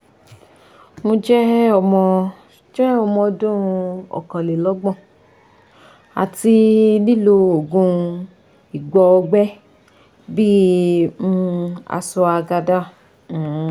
mo je omo je omo odun okanlelogbon ati lilo oògùn igbóògbé bi um cs] ashwagandha um